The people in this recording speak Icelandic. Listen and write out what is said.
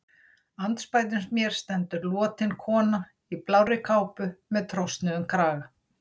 Andspænis mér stendur lotin kona í blárri kápu með trosnuðum kraga.